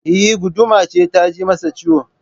Eh, guduma ce ta ji masa ciwo